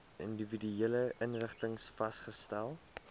individuele inrigtings vasgestel